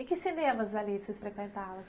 E que cinemas ali vocês frequentavam?